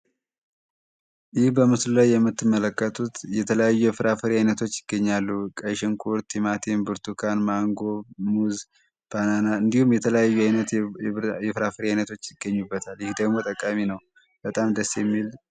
ይህ በምስሉ ላይ የምትመለከቱት የተለያዩ የፍራፈሪ ዓይነቶች ይገኛሉ። ቀይ ሽንኩውት፣ ቲማቲም፣ ብርቱካን፣ ማንጎ ፣ሙዝ እንዲሁም የየፍራፈሪ ዓይነቶች ይገኙበታል። ይህ ደግሞ ጠቃሚ ነው በጣም ደሴ ሚል